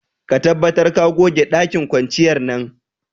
Ka tabbatar ka goge dakin kwanciyar nan.